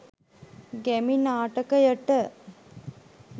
ගැමි නාටකයට